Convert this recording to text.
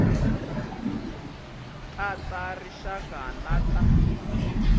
ta ta rixaka na ta